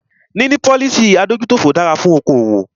Níní policy adójútòfò dára fún okoòwò.